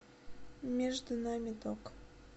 между нами ток